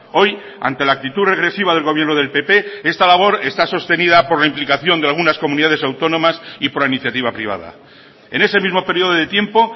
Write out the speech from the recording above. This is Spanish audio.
hoy ante la actitud regresiva del gobierno del pp esta labor está sostenida por la implicación de algunas comunidades autónomas y por la iniciativa privada en ese mismo periodo de tiempo